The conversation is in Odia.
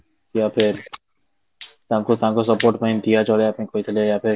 ତାଙ୍କୁ ତାଙ୍କ support ପାଇଁ ଜଳେଇବା ପାଇଁ କହିଥିଲେ